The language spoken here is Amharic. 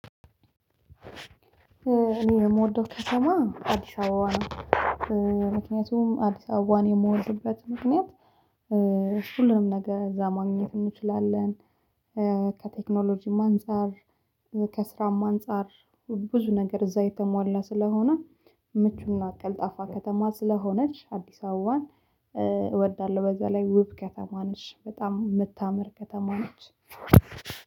እኔ የምወደው ከተማ አዲስ አበባ ነው። ምክንያቱም አዲስ አበባን የምወድበት ምክንያት ሁሉንም ነገር እዛ ማግኘት እንችላለን። ከቴክኖሎጂም አንፃር ከስራም አንፃር ብዙ ነገር እዛ የተሟላ ስለሆነ ምቹና ቀልጣፋ ከተማ ስለሆነች። አዲስ አበባን እወዳለሁ። በዛ ላይ ውብ ከተማ ነሽ በጣም የምታምር ከተማ ነች።